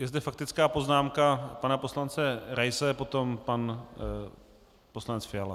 Je zde faktická poznámka pana poslance Raise, potom pan poslanec Fiala.